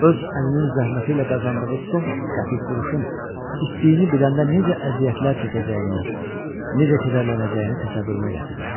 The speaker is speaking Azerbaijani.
Öz əlinin zəhməti ilə qazandığı son qəpik quruşun itdiyi biləndə necə əziyyətlər çəkəcəyini, necə kədərlənəcəyini təsəvvürümə gətirirdim.